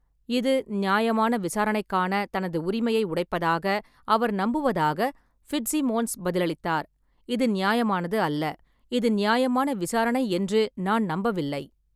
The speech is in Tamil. இது நியாயமான விசாரணைக்கான தனது உரிமையை உடைப்பதாக அவர் நம்புவதாக ஃபிட்ஸிமோன்ஸ் பதிலளித்தார்: "இது நியாயமானது அல்ல. இது நியாயமான விசாரணை என்று நான் நம்பவில்லை."